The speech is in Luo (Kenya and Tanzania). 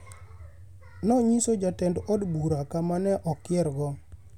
,” nonyiso Jatend od bura kama ne okiergo.